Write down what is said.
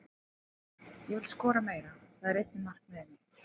Ég vil skora meira, það er einnig markmiðið mitt.